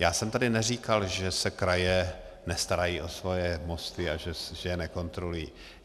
Já jsem tady neříkal, že se kraje nestarají o své mosty a že je nekontrolují.